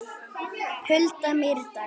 Hulda Mýrdal.